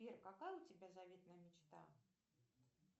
сбер какая у тебя заветная мечта